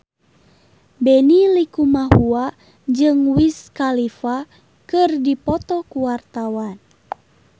Benny Likumahua jeung Wiz Khalifa keur dipoto ku wartawan